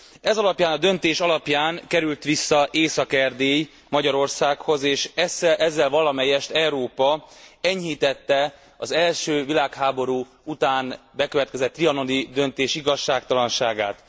Ez alapján a döntés alapján került vissza Észak Erdély Magyarországhoz, és ezzel valamelyest Európa enyhítette az első világháború után bekövetkezett trianoni döntés igazságtalanságát.